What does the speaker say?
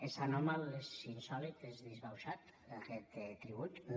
és anòmal és insòlit és disbauxat aquest tribut no